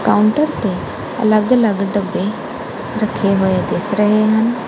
Counter ਤੇ ਅਲੱਗ ਅਲੱਗ ਡੱਬੇ ਰੱਖੇ ਹੋਏ ਦਿਸ ਰਹੇ ਹੈ।